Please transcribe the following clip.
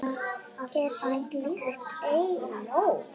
Er slíkt ei nóg?